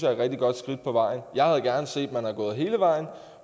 er et rigtig godt skridt på vejen jeg havde gerne set at man var gået hele vejen